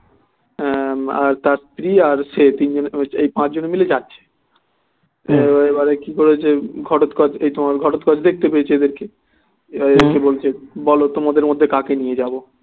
তার স্ত্রী আর সে তিনজনে এই পাঁচ জন্যে মিলে যাচ্ছে এবারে কি করেছে ঘটোৎকচ এই তোমার ঘটোৎকচ দেখতে পেয়েছে এদেরকে বলছে বলো তোমাদের মধ্যে কা কে নিয়ে যাবো